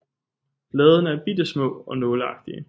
Bladene er bitte små og nåleagtige